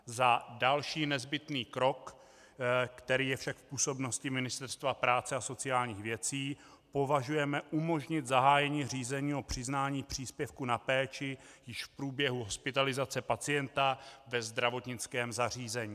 Za další nezbytný krok, který je však v působnosti Ministerstva práce a sociálních věcí, považujeme umožnit zahájení řízení o přiznání příspěvku na péči již v průběhu hospitalizace pacienta ve zdravotnickém zařízení.